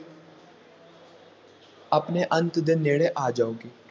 ਆਪਣੇ ਅੰਤ ਦੇ ਨੇੜੇ ਆ ਜਾਊਗੀ।